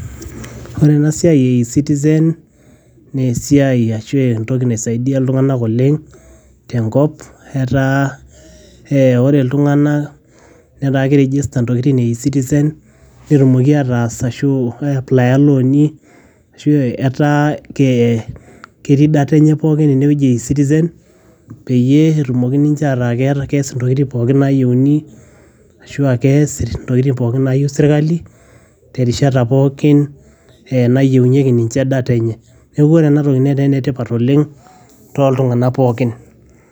ore ena siai e e citizen naa esiai ashu entoki naisaidia iltung'anak oleng tenkop etaa ee ore iltung'anak netaa ki register intokitin e e citizen netumoki ataas ashu ae aplaya ilooni ashu etaa kee ketii data enye pookin enewueji e e citizen peyie etumoki ninche ataa kees intokiting pooki nayieuni ashua kees intokiting pooki nayieu sirkali terishat pookin eh nayienyieki ninche data enye neeku ore enatoki netaa enetipat oleng toltung'anak pookin.